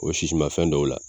O sisimafɛn dɔw la